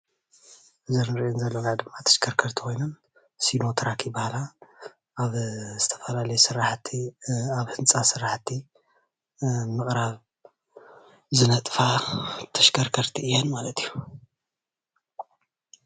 እዘን እንሪአን ዘለና ድማ ተሽከርከርቲ ኮይነን ሲኖትራክ ይባሃላ፡፡ ኣብ ዝትፈላለየ ስራሕቲ ኣብ ህንፃ ስራሕቲ ምዕራብ ዝነጥፋ ተሽከርከርቲ እየን ማለት እዩ፡፡